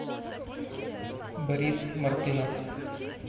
борис мартынов